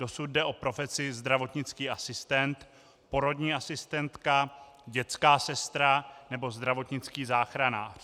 Dosud jde o profesi zdravotnický asistent, porodní asistentka, dětská sestra nebo zdravotnický záchranář.